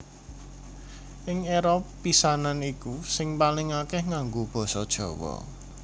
Ing éra pisanan iku sing paling akèh nganggo basa Jawa